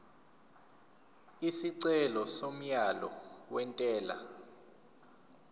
isicelo somyalo wentela